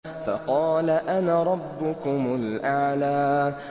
فَقَالَ أَنَا رَبُّكُمُ الْأَعْلَىٰ